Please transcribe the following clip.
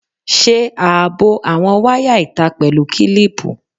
Ṣe ààbò àwọn wáyà ìta pẹ̀lú kílíìpù.